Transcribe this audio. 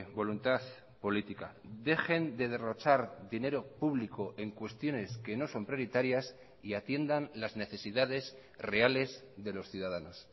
voluntad política dejen de derrochar dinero público en cuestiones que no son prioritarias y atiendan las necesidades reales de los ciudadanos